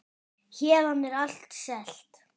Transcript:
Héðan er allt selt.